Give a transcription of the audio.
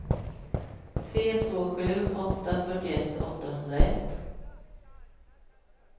tre två sju åtta fyrtioett åttahundraett